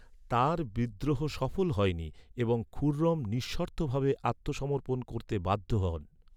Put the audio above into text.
তার বিদ্রোহ সফল হয়নি এবং খুররম নিঃশর্তভাবে আত্মসমর্পণ করতে বাধ্য হন।